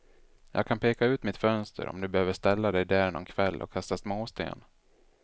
Jag kan peka ut mitt fönster, om du behöver ställa dig där någon kväll och kasta småsten.